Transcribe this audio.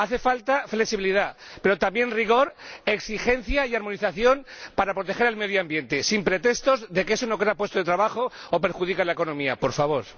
Hace falta flexibilidad, pero también rigor, exigencia y armonización para proteger el medio ambiente, sin pretextos de que eso no crea puestos de trabajo o perjudica la economía, ¡por favor!